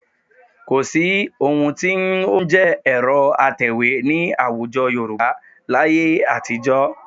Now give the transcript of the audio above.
Kò sí ohun tí ó ń jẹ́ ẹ̀rọ atẹ̀wé ní àwùjọ Yorùbá láyé àtijọ́